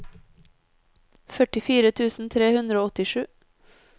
førtifire tusen tre hundre og åttisju